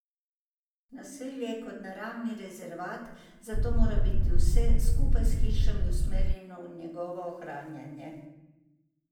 Naselje je kot naravni rezervat, zato mora biti vse, skupaj s hišami, usmerjeno v njegovo ohranjanje.